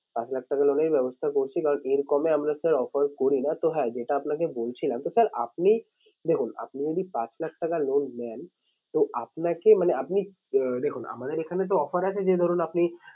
পাঁচ লাখ টাকা loan এর ব্যবস্থা করছি কারণ এর কমে আমরা sir offer করি না। তো হ্যাঁ যেটা আপনাকে বলছিলাম তো sir আপনি, দেখুন আপনি যদি পাঁচ লাখ টাকা loan নেন তো আপনাকে মানে আপনি আঁ দেখুন আমাদের এখানে তো offer আছে যে ধরুন আপনি